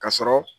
Ka sɔrɔ